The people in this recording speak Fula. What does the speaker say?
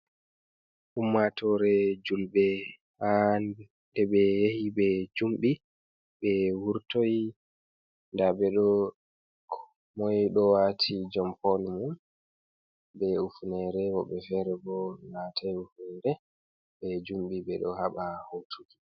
Ummatore julɓe ha nde ɓe yahi ɓe jumɓi ɓe wurtoyi nda ɓeɗo komoi ɗo wati jampon wol mu be ufunere Woɓɓe fere bo watai ufunere ɓe jumɓi ɓe ɗo haɓa hotuki.